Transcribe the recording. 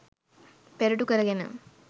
පෙරටු කරගෙන